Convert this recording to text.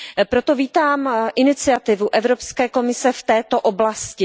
Proto vítám iniciativu Evropské komise v této oblasti.